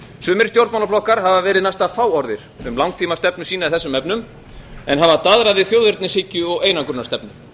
sumir stjórnmálaflokkar hafa verið næsta fáorðir um langtímastefnu sína í þessum efnum en hafa daðrað við þjóðernishyggju og einangrunarstefnu